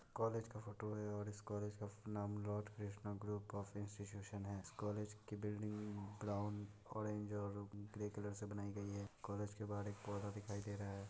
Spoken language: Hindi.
कॉलेज का फोटो है और इस कॉलेज का नाम लॉर्ड कृष्णा ग्रुप ऑफ़ है इस कॉलेज की बिल्डिंग ब्राउन ऑरेंज और ग्रे कलर से बनायीं गई है कॉलेज के बाहर एक पौधा दिखाई दे रहा है।.